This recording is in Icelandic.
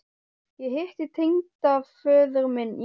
Ég hitti tengdaföður minn í morgun